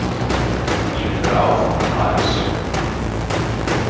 Ég vill vera áfram í París.